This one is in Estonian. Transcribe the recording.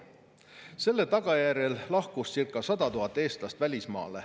Selle tagajärjel lahkus circa 100 000 eestlast välismaale.